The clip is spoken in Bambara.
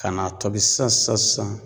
Ka n'a tobi sisan sisan sisan sisan